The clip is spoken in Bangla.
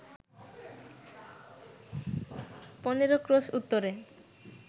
১৫ ক্রোশ উত্তরে